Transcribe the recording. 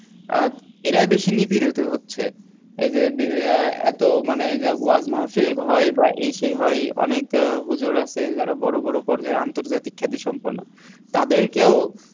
আহ এরাই বেশি নিপীড়িত হচ্ছে এই যে আহ এত মানে এই যে ওয়াজ মাহফিল হয় বা এই সেই হয় অনেক আহ হুজুর আসে যারা বড় বড় পর্যায় আন্তর্জাতিক খ্যাতিসম্পন্ন তাদেরকেও